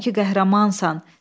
Görürəm ki, qəhrəmansan.